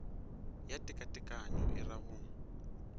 ya tekatekanyo e ra go